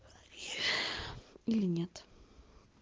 или нет